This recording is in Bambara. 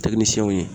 ye